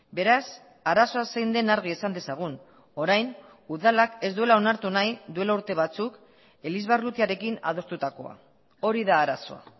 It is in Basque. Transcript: beraz arazoa zein den argi esan dezagun orain udalak ez duela onartu nahi duela urte batzuk elizbarrutiarekin adostutakoa hori da arazoa